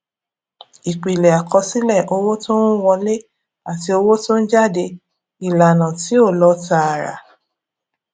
ìpìlẹ àkọsílẹ owó tó ń wọlé àti owó tó ń jáde ìlànà tí ó lọ tààrà